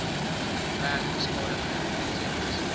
werk beskadigde omgewings